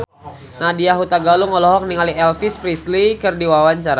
Nadya Hutagalung olohok ningali Elvis Presley keur diwawancara